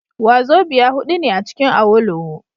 Wazobia hudu ne acikin Awolowo